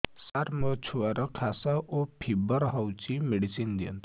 ସାର ମୋର ଛୁଆର ଖାସ ଓ ଫିବର ହଉଚି ମେଡିସିନ ଦିଅନ୍ତୁ